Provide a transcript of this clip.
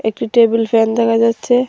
একটি table fan দেখা যাচ্ছে।